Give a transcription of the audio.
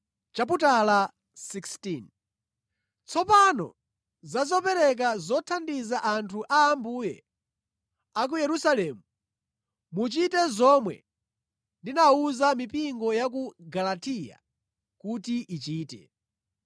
Tsopano za zopereka zothandiza anthu a Ambuye a ku Yerusalemu. Muchite zomwe ndinawuza mipingo ya ku Galatiya kuti ichite.